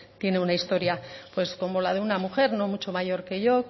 tiene una historia pues como la de una mujer no mucho mayor que yo